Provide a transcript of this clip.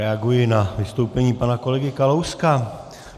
Reaguji na vystoupení pana kolegy Kalouska.